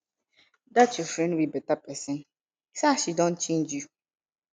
dat your friend no be beta person see as she don change you